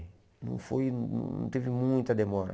Não foi não teve muita demora.